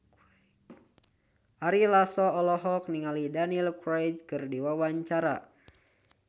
Ari Lasso olohok ningali Daniel Craig keur diwawancara